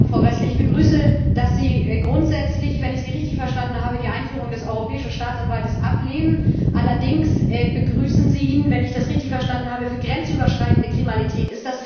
Frau Gräßle, ich begrüße, dass Sie grundsätzlich, wenn ich Sie richtig verstanden habe, die Einführung des Europäischen Staatsanwaltes ablehnen. Allerdings begrüßen Sie ihn wenn ich das richtig verstanden habe für grenzüberschreitende Kriminalität.